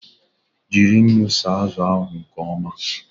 Jiri unu saa azụ ahu nke ọma!